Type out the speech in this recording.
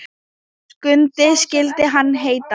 Skundi skyldi hann heita.